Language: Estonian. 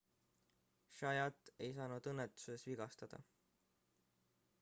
zayat ei saanud õnnetuses vigastada